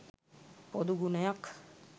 පොදු ගුණයක්.